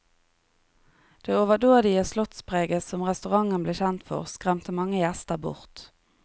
Det overdådige slottspreget som restauranten ble kjent for, skremte mange gjester bort.